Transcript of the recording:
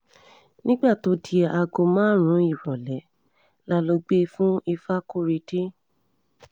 nígbà tó di aago márùn-ún ìrọ̀lẹ́ la lọ́ọ́ gbé e fún ìfakọ́rẹ́dé